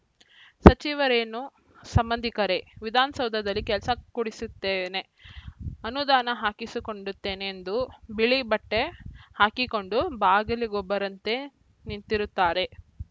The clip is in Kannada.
ಸಚಿವರೇನು ಸಂಬಂಧಿಕರೇ ವಿಧಾನಸೌಧದಲ್ಲಿ ಕೆಲಸ ಕೊಡಿಸುತ್ತೇನೆ ಅನುದಾನ ಹಾಕಿಸಿಕೊಂಡುತ್ತೇನೆ ಎಂದು ಬಿಳಿ ಬಟ್ಟೆಹಾಕಿಕೊಂಡು ಬಾಗಿಲಿಗೊಬ್ಬರಂತೆ ನಿಂತಿರುತ್ತಾರೆ